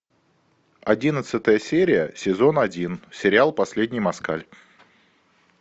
одиннадцатая серия сезон один сериал последний москаль